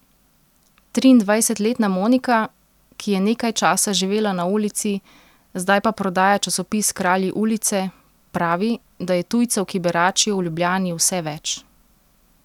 Triindvajsetletna Monika, ki je nekaj časa živela na ulici, zdaj pa prodaja časopis Kralji ulice, pravi, da je tujcev, ki beračijo v Ljubljani, vse več.